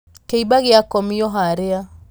Kĩiba gĩakomio harĩa.